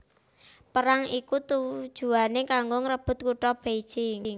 Perang iki tujuwané kanggo ngrebut kutha Beijing